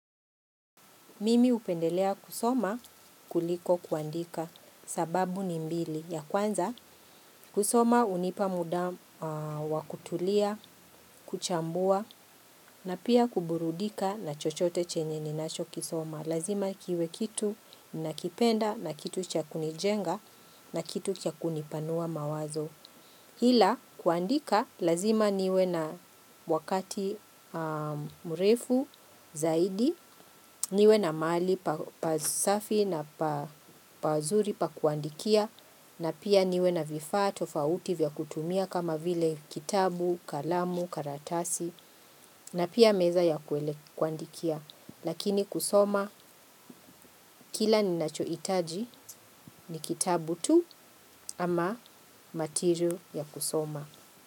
Mimi upendelea kusoma kuliko kuandika sababu ni mbili. Ya kwanza kusoma unipa muda wakutulia, kuchambua na pia kuburudika na chochote chenye ninacho kisoma. Lazima kiwe kitu na kipenda na kitu chakuni jenga na kitu kya kuni panua mawazo. Hila kuandika lazima niwe na wakati mrefu zaidi, niwe na mahali pa safi na pazuri pa kuandikia, na pia niwe na vifaa tofauti vya kutumia kama vile kitabu, kalamu, karatasi, na pia meza ya kwele kuandikia. Lakini kusoma, kila ni nachoitaji ni kitabu tu ama material ya kusoma.